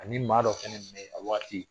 Ani maa dɔ fana tun bɛ yen a wagati